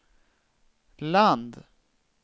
land